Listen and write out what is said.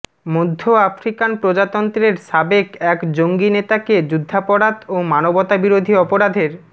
মধ্য আফ্রিকান প্রজাতন্ত্রের সাবেক এক জঙ্গি নেতাকে যুদ্ধাপরাধ ও মানবতা বিরোধী অপরাধের